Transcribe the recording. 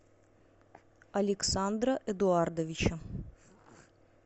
александра эдуардовича